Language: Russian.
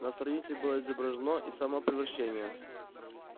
на странице было изображено и само превращение